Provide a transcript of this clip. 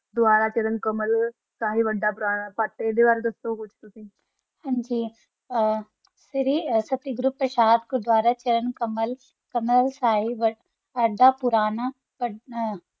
ਦੋਬਾਰਾ ਚਾਰਾਂ ਕੰਬਲ ਸਹੀ ਵਾਦਾ ਪੋਰਨਾ ਫਾਟਾ ਹਨ ਜੀ ਏਹਾ ਤਾਰਾ ਸਸਤੀ ਗ੍ਰੋਉਪ ਸਾਰਾ ਚਾਰਾਂ ਦਾ ਕਮਾਲ ਕਮਾਲ ਸਾਰੀ ਵਰਦੀ ਅਦਾ ਪੋਰਾਨਾ ਕਾਮ ਆ